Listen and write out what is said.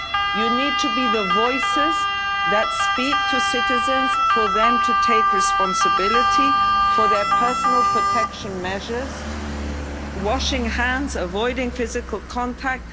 ways. You need to be the voices that speak to citizens for them to take responsibility for their personal protection measures washing hands, avoiding physical contact